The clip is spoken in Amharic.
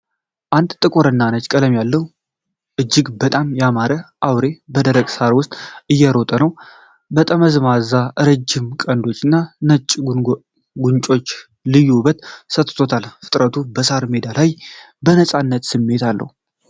አንድ ጥቁር እና ነጭ ቀለም ያለው እጅግ በጣም ያማረ አውሬ በደረቅ ሣር ውስጥ እየሮጠ ነው። ጠመዝማዛና ረጅም ቀንዶቹ እና ነጭ ጉንጮቹ ልዩ ውበት ሰጥተውታል፤ ፍጥነቱ በሣር ሜዳው ላይ የነፃነት ስሜት አለው።